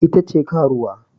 Ita ce karuwa